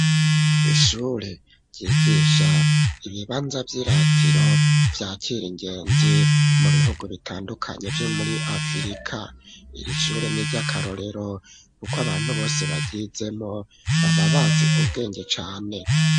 Ishure ryigisha ibibanza vy'iratiro vyakira ingenzi mu bihugu bitandukanye vyo muri afirika, iri shure n'iryakarorero kuko abantu bose baryizemo baba bazi ubwenge cane.